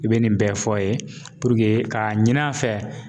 I bɛ nin bɛɛ fɔ a ye k'a ɲini a fɛ